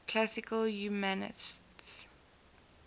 classical humanists